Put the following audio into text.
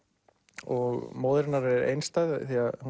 og móðir hennar er einstæð